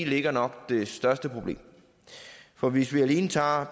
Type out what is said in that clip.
ligger nok det største problem for hvis vi alene tager